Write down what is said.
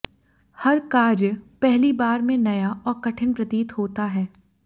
हर कार्य पहली बार में नया और कठिन प्रतीत होता है